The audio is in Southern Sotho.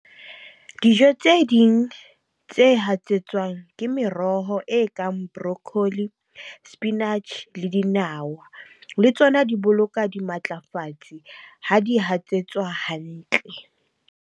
Dijo tse ding tse hatsetswang ke meroho e kang broccoli, spinach le dinawa. Le tsona di boloka dimatlafatsi ha di hatsetswa hantle.